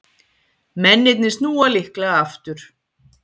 Mennirnir snúa líklega aftur